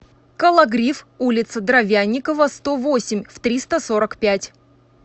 кологрив улица дровянникова сто восемь в триста сорок пять